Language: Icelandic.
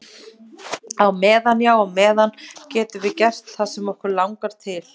Á meðan, já á meðan á meðan getum við gert það sem okkur langar til.